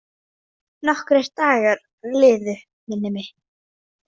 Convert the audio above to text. Nokkrir dagar liðu, minnir mig.